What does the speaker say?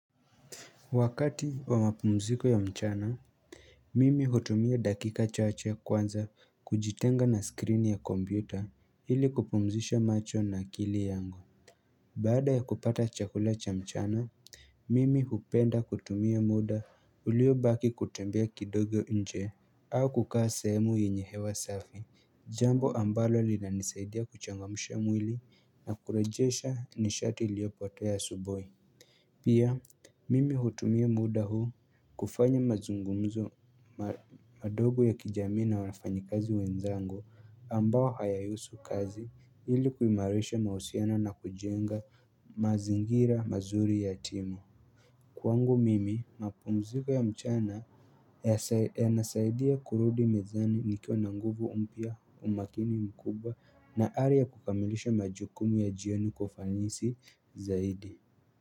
Wakati wa mapumziko ya mchana Mimi hutumia dakika chache ya kwanza kujitenga na skrini ya kombuta ili kupumzisha macho na kili yangu Baada ya kupata chakula cha mchana Mimi hupenda kutumia muda ulio baki kutembea kidogo nje au kukaa sehemu yenye hewa safi Jambo ambalo li na nisaidia kuchangamusha mwili na kurejesha nishati iliopoteya asubui Pia mimi hutumia muda huu kufanya mazungumzo madogo ya kijamii na wafanyikazi wenzangu ambayo hayahusu kazi ili kuimarisha mahusiano na kujenga mazingira mazuri ya timu Kwangu mimi mapumziko ya mchana yanasaidia kurudi mezani nikiwa na nguvu umpia umakini mkubwa na ari ya kukamilisha majukumu ya jioni kwa ufanisi zaidi.